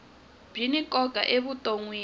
byi ni nkoka evutonwini